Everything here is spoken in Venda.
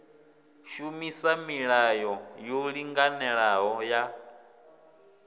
shumisa milayo yo linganelaho ya